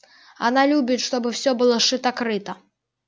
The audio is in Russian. она любит чтобы все было шито-крыто